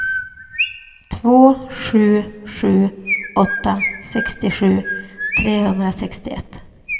två sju sju åtta sextiosju trehundrasextioett